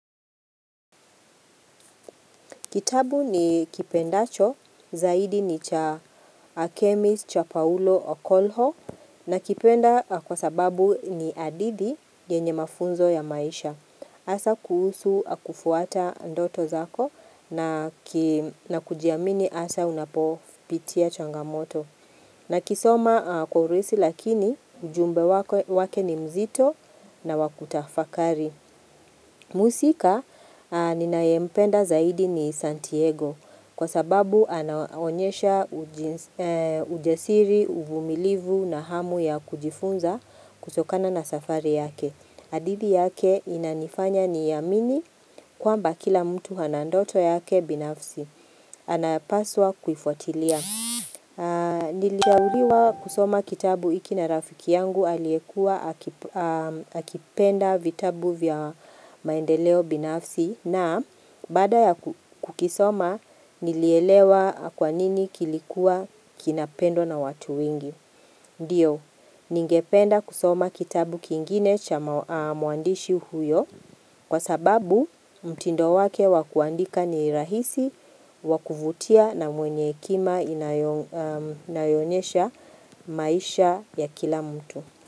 Kitabu nikipendacho, zaidi ni cha Akemis cha Paulo Okolho nakipenda kwa sababu ni hadithi yenye mafunzo ya maisha. Hasa kuhusu kufuata ndoto zako na kujiamini hasa unapopitia changamoto. Nakisoma kwa urahisi lakini ujumbe wake ni nzito na wa kutafakari. Mhusika ninayempenda zaidi ni Santiago kwa sababu anaonyesha ujasiri, uvumilivu na hamu ya kujifunza kutokana na safari yake. Hadithi yake inanifanya ni amini kwamba kila mtu ana ndoto yake binafsi. Anapaswa kuifuatilia. Nilishauriwa kusoma kitabu hiki na rafiki yangu aliyekuwa aki akipenda vitabu vya maendeleo binafsi na baada ya kukisoma nilielewa kwanini kilikuwa kinapendwa na watu wengi Ndiyo, ningependa kusoma kitabu kingine cha mwandishi huyo kwa sababu mtindo wake wa kuandika ni rahisi wa kuvutia na mwenye kima inayo onyesha maisha ya kila mtu.